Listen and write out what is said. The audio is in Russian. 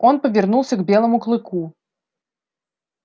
он повернулся к белому клыку